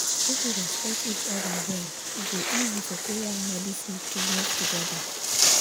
if we respect each other well e go easy for prayer and medicine to move together.